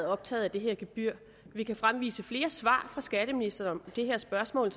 optaget af det her gebyr vi kan fremvise flere svar fra skatteministeren om det her spørgsmål